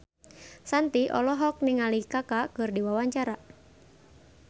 Shanti olohok ningali Kaka keur diwawancara